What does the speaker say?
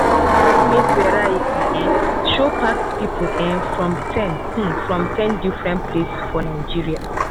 that maize variety um show pack people um from ten um from ten different place for nigeria